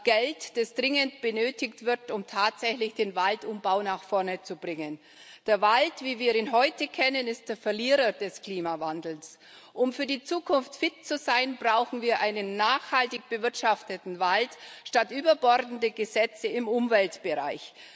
Geld, das dringend benötigt wird, um tatsächlich den Waldumbau nach vorne zu bringen. Der Wald, wie wir ihn heute kennen, ist der Verlierer des Klimawandels. Um für die Zukunft fit zu sein, brauchen wir einen nachhaltig bewirtschafteten Wald statt überbordende Gesetze im Umweltbereich.